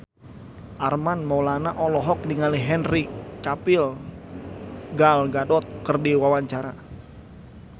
Armand Maulana olohok ningali Henry Cavill Gal Gadot keur diwawancara